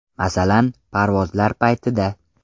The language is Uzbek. Masalan, parvozlar paytida.